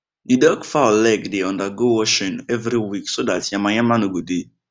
the duck fowl leg dey undergo washing every week so that yamayama no go dey